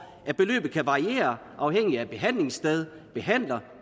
at beløbet kan variere afhængigt af behandlingssted behandler